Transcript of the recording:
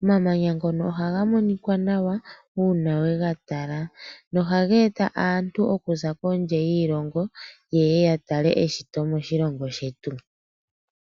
Omamanya ngono ohaga monika nawa uuna we ga tala nohaga eta aantu okuza kondje yiilongo yeye yatale eshito letu.